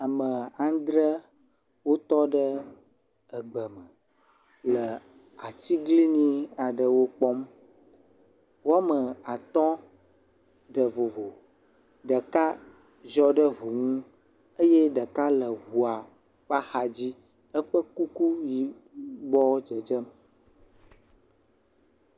Ame andre wotɔ ɖe egbe me le atiglinyi aɖewo kpɔm, woame at ɖe vovo, ɖeka sɔe ɖe ŋu nu eye ɖeka le eŋua ƒe axa dzi. Eƒe kuku yibɔ dzedzem.